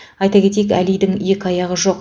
айта кетейік әлидің екі аяғы жоқ